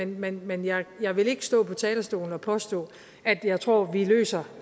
men men jeg vil ikke stå på talerstolen og påstå at jeg tror vi løser